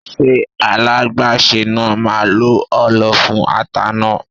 Ṣé alágbàsè náà máa lo ọlọ fún ata náà?